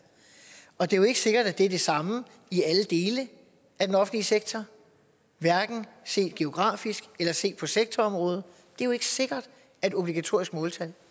og det er jo ikke sikkert at det er det samme i alle dele af den offentlige sektor hverken set geografisk eller set på sektorområde det er jo ikke sikkert at obligatoriske måltal